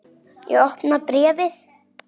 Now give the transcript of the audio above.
Ég opna bréfið.